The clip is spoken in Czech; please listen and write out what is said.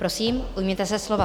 Prosím, ujměte se slova.